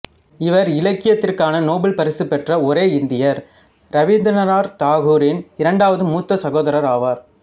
இவர் இலக்கியத்திற்கான நோபல் பரிசு பெற்ற ஒரே இந்தியர் ரவீந்திரநாத் தாகூரின் இரண்டாவது மூத்த சகோதரர் ஆவார்